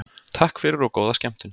Takk fyrir og góða skemmtun.